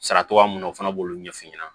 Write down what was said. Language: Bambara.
Sara togoya mun na o fana b'olu ɲɛf'i ɲɛna